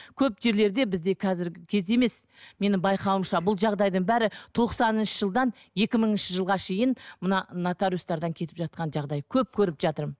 көп жерлерде бізде қазіргі кезде емес менің байқауымша бұл жағдайдың бәрі тоқсаныншы жылдан екі мыңыншы жылға шейін мына нотариустардан кетіп жатқан жағдай көп көріп жатырмын